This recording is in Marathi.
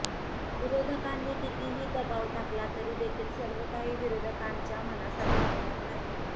विरोधकांनी कितीही दबाव टाकला तरी देखील सर्वकाही विरोधकांच्या मनासारखे होणार नाही